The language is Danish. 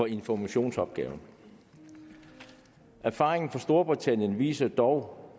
informationsopgaven erfaringen fra storbritannien viser dog